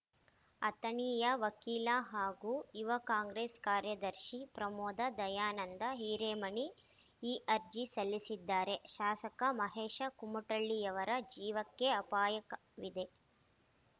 ಅಥಣಿಯ ವಕೀಲ ಹಾಗೂ ಯುವ ಕಾಂಗ್ರೆಸ್‌ ಕಾರ್ಯದರ್ಶಿ ಪ್ರಮೋದ ದಯಾನಂದ ಹಿರೇಮನಿ ಈ ಅರ್ಜಿ ಸಲ್ಲಿಸಿದ್ದಾರೆ ಶಾಸಕ ಮಹೇಶ ಕುಮಟಳ್ಳಿಯವರ ಜೀವಕ್ಕೆ ಅಪಾಯಕವಿದೆ